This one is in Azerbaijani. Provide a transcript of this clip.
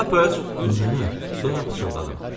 Nənə, sonra pıçıldadım.